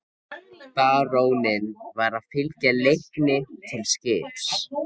Baróninn var að fylgja Leikni til skips.